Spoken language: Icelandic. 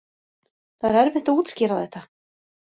Það er erfitt að útskýra þetta